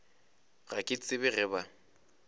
ga ke tsebe ge ba